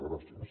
gràcies